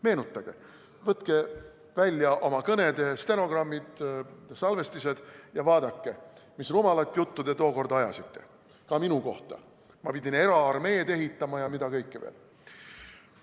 Meenutage, võtke välja oma kõnede stenogrammid, salvestised ja vaadake, mis rumalat juttu te tookord ajasite, ka minu kohta, et ma pidavat eraarmeed ehitama ja mida kõike veel.